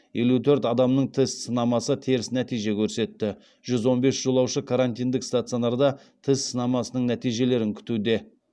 елу төрт адамның тест сынамасы теріс нәтиже көрсетті жүз он бес жолаушы карантиндік стационарда тест сынамасының нәтижелерін күтуде